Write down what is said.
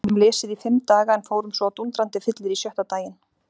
Við gátum lesið í fimm daga en fórum svo á dúndrandi fyllerí sjötta daginn.